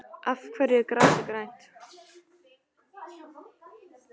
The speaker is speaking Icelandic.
Af hverju er grasið grænt?